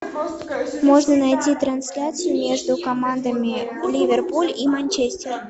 можно найти трансляцию между командами ливерпуль и манчестер